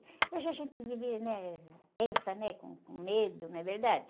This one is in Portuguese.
Hoje a gente vive, né? Tensa, né? Com, com medo, não é verdade?